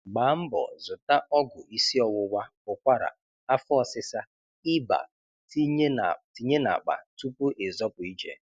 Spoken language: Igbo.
Gbaa mbọ zụta ọgwụ isiọwụwa, ụkwara, afọ ọsịsa, iba tinye n'akpa tupu ịzọpụ ije